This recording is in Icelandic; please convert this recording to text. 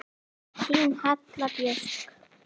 Þín Halla Björk.